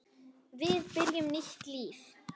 Við byrjum nýtt líf.